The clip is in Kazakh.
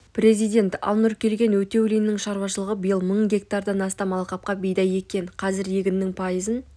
президент ал нұркелген өтеулиннің шаруашылығы биыл мың гектардан астам алқапқа бидай еккен қазір егіннің пайызын